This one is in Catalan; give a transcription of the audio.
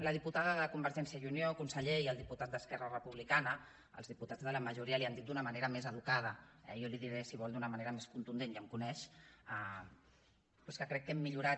la diputada de convergència i unió conseller i el diputat d’esquerra republicana els diputats de la majoria li ho han dit d’una manera més educada eh jo li ho diré si vol d’una manera més contundent ja em coneix però és que crec que hem millorat